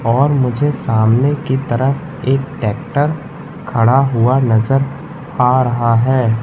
और मुझे सामने की तरफ एक ट्रैक्टर खड़ा हुआ नजर आ रहा है।